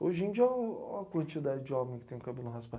Hoje em dia, oh ó a quantidade de homem que tem o cabelo raspado.